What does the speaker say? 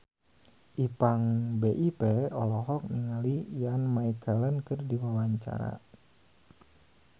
Ipank BIP olohok ningali Ian McKellen keur diwawancara